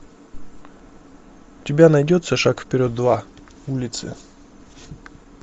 у тебя найдется шаг вперед два улицы